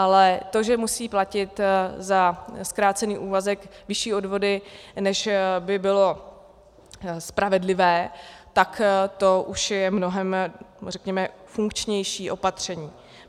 Ale to, že musí platit za zkrácený úvazek vyšší odvody, než by bylo spravedlivé, tak to už je mnohem, řekněme, funkčnější opatření.